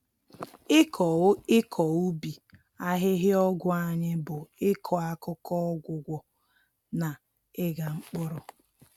Ịkọ Ịkọ ubi ahịhịa ọgwụ anyị bụ ịkọ akụkọ, ọgwụgwọ, na ịgha mpkụrụ.